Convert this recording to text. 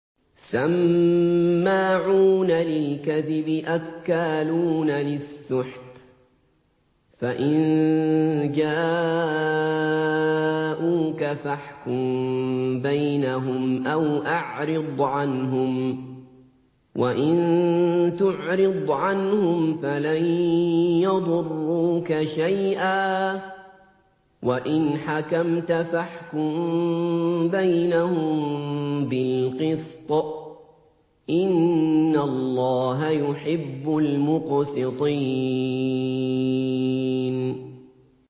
سَمَّاعُونَ لِلْكَذِبِ أَكَّالُونَ لِلسُّحْتِ ۚ فَإِن جَاءُوكَ فَاحْكُم بَيْنَهُمْ أَوْ أَعْرِضْ عَنْهُمْ ۖ وَإِن تُعْرِضْ عَنْهُمْ فَلَن يَضُرُّوكَ شَيْئًا ۖ وَإِنْ حَكَمْتَ فَاحْكُم بَيْنَهُم بِالْقِسْطِ ۚ إِنَّ اللَّهَ يُحِبُّ الْمُقْسِطِينَ